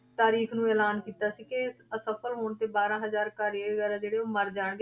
ਤਾਰੀਕ ਨੂੰ ਐਲਾਨ ਕੀਤਾ ਸੀ ਕਿ ਅਸਫਲ ਹੋਣ ਤੇ ਬਾਰਾਂ ਹਜ਼ਾਰ ਕਾਰੀਗਰ ਆ ਜਿਹੜੇ ਉਹ ਮਰ ਜਾਣਗੇ